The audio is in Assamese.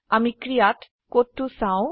আমি ক্ৰীয়াত কোডটো চাও